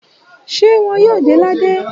Ṣé wọ́n yóò de ládé?